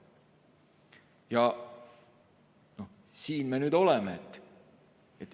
Ja siin me nüüd oleme.